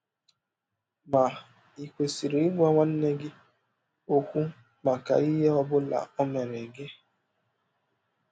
Ma ì kwesịrị ịgwa nwanne gị ọkwụ maka ihe ọ bụla ọ mere gị?